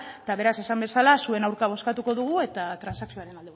eta beraz esan bezala zuen aurka bozkatuko dugu eta transakzioaren